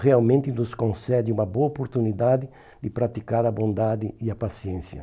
realmente nos concede uma boa oportunidade de praticar a bondade e a paciência.